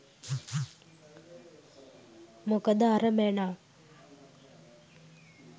මොකද අර මැනා